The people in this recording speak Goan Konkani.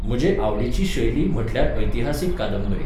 म्हजे आवडीची शैली म्हटल्यार ऐतिहासीक कादंबरी.